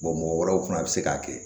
mɔgɔ wɛrɛw fana bɛ se k'a kɛ